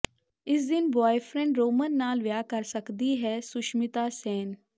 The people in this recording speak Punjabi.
ਇਸ ਦਿਨ ਬੁਆਏਫ੍ਰੈਂਡ ਰੋਹਮਨ ਨਾਲ ਵਿਆਹ ਕਰ ਸਕਦੀ ਹੈ ਸੁਸ਼ਮਿਤਾ ਸੇਨ